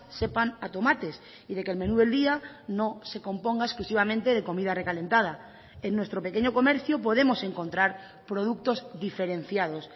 sepan a tomates y de que el menú del día no se componga exclusivamente de comida recalentada en nuestro pequeño comercio podemos encontrar productos diferenciados